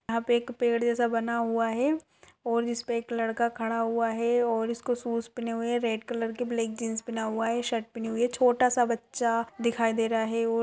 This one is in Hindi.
यहां पे एक पेड़ जैसा बना हुआ है और जिस पे एक लड़का खड़ा हुआ है और इसको शूज़ पहने हुए हैं रेड कलर के ब्लैक जीन्स पहने हुए है शर्ट पहनी हुई है छोटा सा बच्चा दिखाई दे रहा है और --